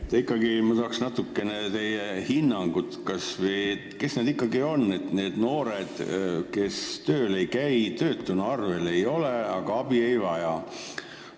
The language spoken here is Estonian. Ma ikkagi tahaks teie hinnangut, kes ikkagi on need noored, kes tööl ei käi ja töötuna arvel ei ole, aga abi ei vaja.